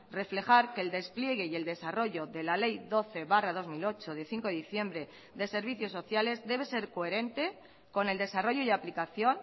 reflejar que el despliegue y el desarrollo de la ley doce barra dos mil ocho de cinco de diciembre de servicios sociales debe ser coherente con el desarrollo y aplicación